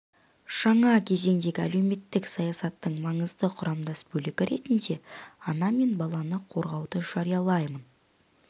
жаңа кезеңдегі әлеуметтік саясаттың маңызды құрамдас бөлігі ретінде ана мен баланы қорғауды жариялаймын